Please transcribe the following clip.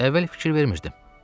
Əvvəl fikir vermirdim.